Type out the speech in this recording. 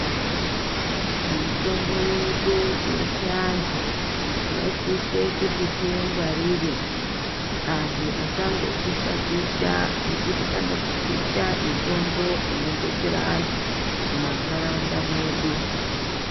Mitombo yedu yechiandu tinosise kuti tiingwarire antu asangopisha pisha nekuti anopisha mitombo inodetsera andu mumandaraunda mwedu.